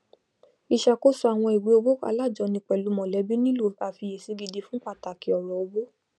ìṣàkóso àwọn ìwé owó alájọni pẹlú mọlẹbí nílò àfiyèsí gidi fun pàtàkì ọrọ owó